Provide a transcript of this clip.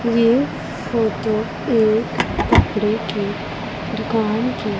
ये फोटो एक कपड़े की दुकान की--